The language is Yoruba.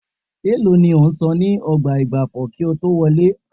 Èèló ni ẹ san ní ọgbà ìgbafẹ́ kí ẹ tó wọlé?